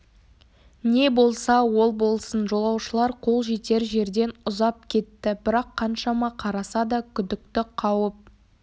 не болса ол болсын жолаушылар қол жетер жерден ұзап кетті бірақ қаншама қараса да күдікті қауіп